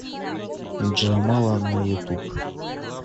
джамала на ютуб